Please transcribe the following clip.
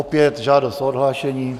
Opět žádost o odhlášení.